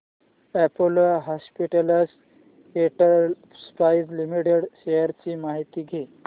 Apollo hospitals enterprise limited shares ची माहिती द्या